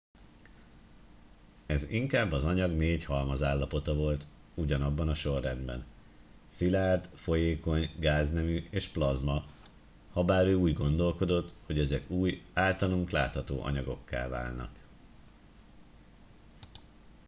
ez inkább az anyag négy halmazállapota volt ugyanabban a sorrendben: szilárd folyékony gáznemű és plazma habár ő úgy gondolkodott hogy ezek új általunk látható anyagokká válnak